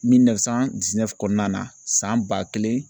kɔnɔna na san ba kelen